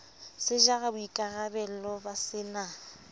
se jara boikarabello ba sena